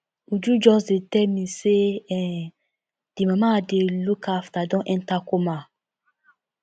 uju just dey tell me say um the mama i dey look after don enter coma